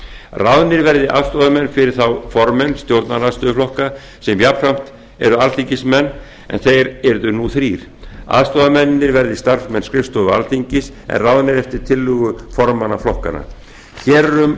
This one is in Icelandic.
ráðnir verði aðstoðarmenn fyrir þá formenn stjórnarandstöðuflokka sem jafnframt eru alþingismenn þeir yrðu nú þrír aðstoðarmennirnir verði starfsmenn skrifstofu alþingis en ráðnir eftir tillögu formanna flokkanna hér er um